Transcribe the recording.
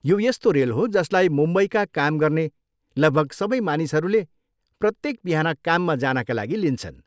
यो यस्तो रेल हो जसलाई मुम्बईका काम गर्ने लगभग सबै मानिसहरूले प्रत्येक बिहान काममा जानका लागि लिन्छन्।